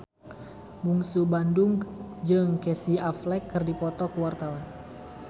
Bungsu Bandung jeung Casey Affleck keur dipoto ku wartawan